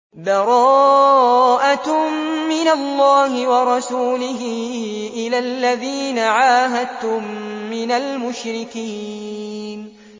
بَرَاءَةٌ مِّنَ اللَّهِ وَرَسُولِهِ إِلَى الَّذِينَ عَاهَدتُّم مِّنَ الْمُشْرِكِينَ